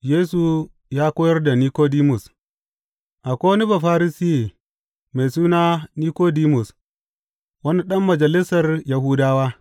Yesu ya koyar da Nikodimus Akwai wani Bafarisiye mai suna Nikodimus, wani ɗan majalisar Yahudawa.